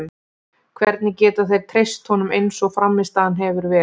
Hvernig geta þeir treyst honum eins og frammistaðan hefur verið?